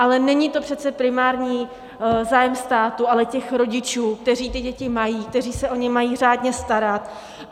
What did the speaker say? Ale není to přece primární zájem státu, ale těch rodičů, kteří ty děti mají, kteří se o ně mají řádné starat.